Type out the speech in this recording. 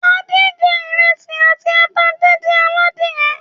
Adé jẹ ìrẹsì àti ata díndín aládìẹ.